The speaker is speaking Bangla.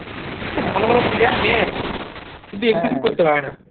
খুব ভালো ভালো player নেই কিন্তু